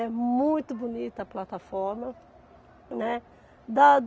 É muito bonita a plataforma, né. Da